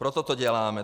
Proto to děláme.